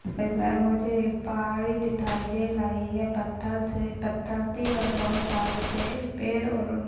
मुझे एक पहाड़ी दिथाई दे लही है पत्थल से पत्थल कि और बहुत ताले पे पेर और ऊन--